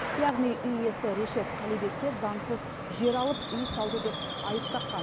яғни үй иесі решет қалибекке заңсыз жер алып үй салды деп айып таққан